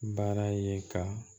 Baara ye ka